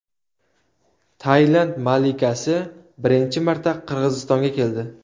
Tailand malikasi birinchi marta Qirg‘izistonga keldi.